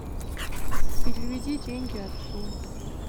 переведи деньги отцу